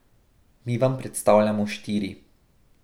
Mi vam predstavljamo štiri.